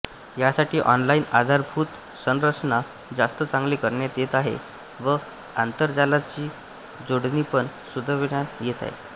यासाठी ऑनलाईन आधारभूत संरचना जास्त चांगली करण्यात येत आहे व आंतरजालाची जोडणीपण सुधरविण्यात येत आहे